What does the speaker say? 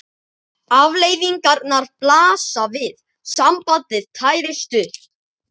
Afleiðingarnar blasa við: sambandið tærist upp.